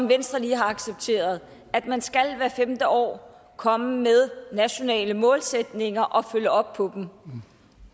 venstre lige har accepteret at man hvert femte år komme med nationale målsætninger og følge op på dem